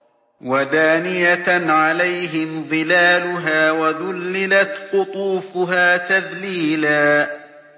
وَدَانِيَةً عَلَيْهِمْ ظِلَالُهَا وَذُلِّلَتْ قُطُوفُهَا تَذْلِيلًا